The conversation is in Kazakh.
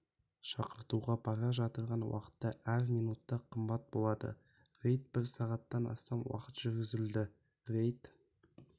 шақыртуға бара жатырған уақытта әр минута қымбат болады рейд бір сағаттан астам уақыт жүргізілді рейд